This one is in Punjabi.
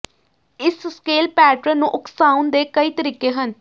ਇਸ ਸਕੇਲ ਪੈਟਰਨ ਨੂੰ ਉਕਸਾਉਣ ਦੇ ਕਈ ਤਰੀਕੇ ਹਨ